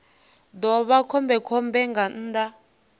ḓo vha khombekhombe nga nnḓa